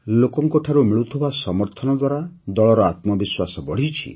ଲୋକଙ୍କଠାରୁ ମିଳୁଥିବା ସମର୍ଥନ ଦ୍ୱାରା ଦଳର ଆତ୍ମବିଶ୍ୱାସ ବଢ଼ିଛି